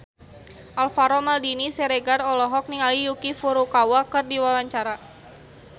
Alvaro Maldini Siregar olohok ningali Yuki Furukawa keur diwawancara